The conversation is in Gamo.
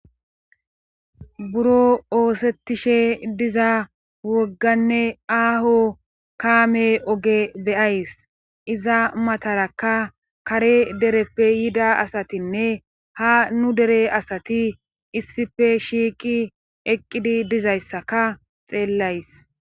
Buro oosettishe diza wogganne aaho kaame oge beyays iza matarakka kare dereppe yida asatinne ha nu dere asati issife shiiqi eqqidi dizayssaka xeellays.